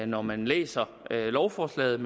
når man læser lovforslaget